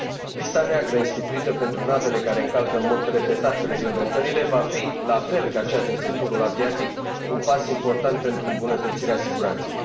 Lista neagră instituită pentru navele care încalcă în mod repetat reglementările va fi, la fel ca cea din sectorul aviatic, un pas important pentru îmbunătățirea siguranței.